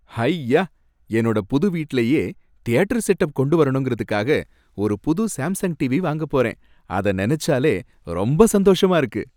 ஹய்யா! என்னோட புது வீட்டுலயே தியேட்டர் செட்அப் கொண்டு வரணுங்கறதுக்காக ஒரு புது சாம்சங் டீவி வாங்கப் போறேன், அத நனச்சாலே ரொம்ப சந்தோஷமா இருக்கு